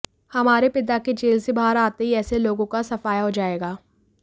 हमारे पिता के जेल से बाहर आते ही ऐसे लोगों का सफाया हो जाएगा